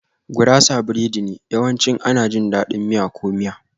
Gurasa biredi ne, yawanci ana jin daɗin miya ko miya.